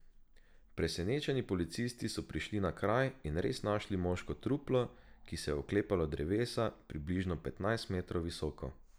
Presenečeni policisti so prišli na kraj in res našli moško truplo, ki se je oklepalo drevesa, približno petnajst metrov visoko.